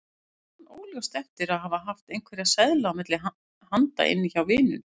Man óljóst eftir að hafa haft einhverja seðla milli handa inni hjá vininum.